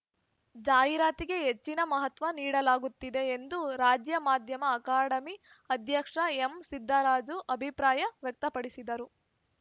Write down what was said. ಜಾಹೀರಾತಿಗೆ ಹೆಚ್ಚಿನ ಮಹತ್ವ ನೀಡಲಾಗುತ್ತಿದೆ ಎಂದು ರಾಜ್ಯ ಮಾಧ್ಯಮ ಅಕಾಡೆಮಿ ಅಧ್ಯಕ್ಷ ಎಂಸಿದ್ದರಾಜು ಅಭಿಪ್ರಾಯ ವ್ಯಕ್ತಪಡಿಸಿದರು